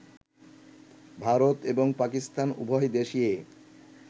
ভারত এবং পাকিস্তান উভয় দেশেই